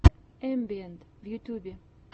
эмбиэнт в ютьюбе